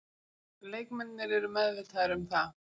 Leikmennirnir eru meðvitaðir um það.